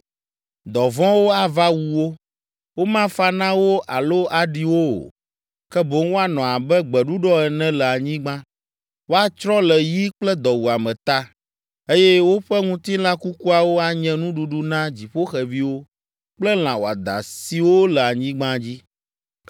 “Dɔ vɔ̃wo ava wu wo, womafa na wo alo aɖi wo o, ke boŋ woanɔ abe gbeɖuɖɔ ene le anyigba. Woatsrɔ̃ le yi kple dɔwuame ta, eye woƒe ŋutilã kukuawo anye nuɖuɖu na dziƒoxeviwo kple lã wɔadã siwo le anyigba dzi.”